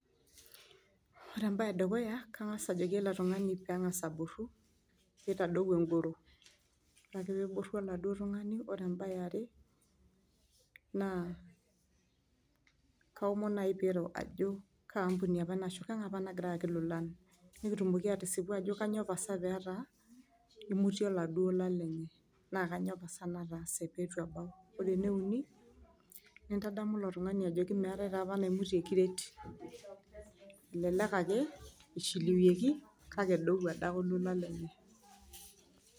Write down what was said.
Ore entoki edukuya naa kangas ajoki ele tungani metoboro , neitadou engoro .Ore ake peeboru oladuoo tungani ,ore embae eare ,naa kaomon naji piro ajo kangae ashu kaa ampuni apa nagira aaki ilolan. Nekitumoki atisipu ajo kainyioo pasa petaa imutie iladoo lolan naa kainyio pasa nataase peitu ebau. Ore ene uni , nintadamu ilo tungani ajo meetae naapa naimutie kiret ,elelek ake ishiliwieki kake ebau adake olola lenye .